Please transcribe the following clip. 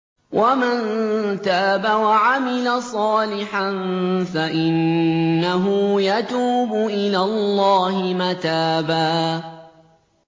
وَمَن تَابَ وَعَمِلَ صَالِحًا فَإِنَّهُ يَتُوبُ إِلَى اللَّهِ مَتَابًا